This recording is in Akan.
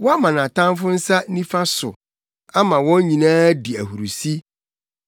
Woama nʼatamfo nsa nifa so; ama wɔn nyinaa di ahurusi.